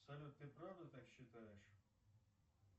салют ты правда так считаешь